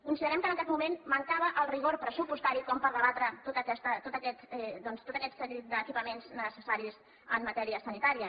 considerem que en aquest moment mancava el rigor pressupostari per debatre tot aquest doncs seguit d’equipaments necessaris en matèria sanitària